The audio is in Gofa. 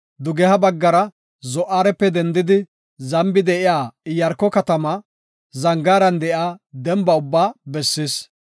dugeha baggara Zo7aarepe dendidi, zambi de7iya Iyaarko katamaa, zangaaran de7iya demba ubbaa bessis.